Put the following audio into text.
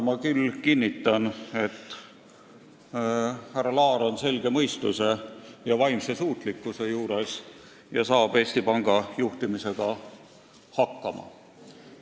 Ma küll kinnitan, et härra Laar on selge mõistuse juures ja vaimselt suutlik ning saab Eesti Panga juhtimisega hakkama.